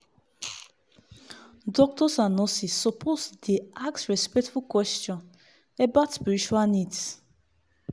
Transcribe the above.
doctors and nurses suppose dey ask respectful question about spiritual needs